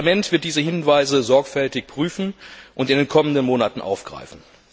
Das Parlament wird diese Hinweise sorgfältig prüfen und in den kommenden Monaten aufgreifen.